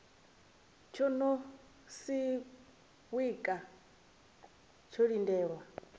tsho no siwka tsho lindela